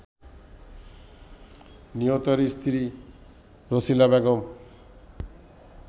নিহতের স্ত্রী রছিলা বেগম